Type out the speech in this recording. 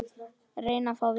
Reyna að fá vinnu?